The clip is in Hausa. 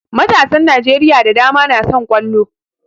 Matasan Najeriya da dama na son ƙwallo